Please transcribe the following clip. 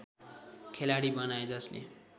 खेलाडी बनाए जसले